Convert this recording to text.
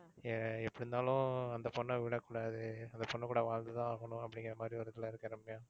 அஹ் எப்படி இருந்தாலும் அந்த பொண்ண விடக்கூடாது. அந்த பொண்ணு கூட வாழ்ந்து தான் ஆகணும் அப்படிங்கிற மாதிரி ஒரு இதுல இருக்கேன் ரம்யா.